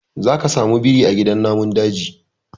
Zaka samu biri a gidan namun daji.